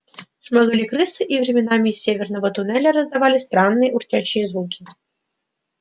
шмыгали крысы и временами из северного туннеля раздавались странные урчащие звуки